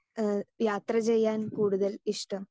Speaker 2 ഏഹ് യാത്ര ചെയ്യാൻ കൂടുതൽ ഇഷ്ടം?